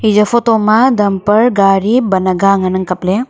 eya photo damper gari bam aga ngan ang kaley.